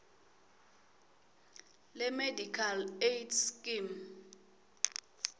lemedical aid scheme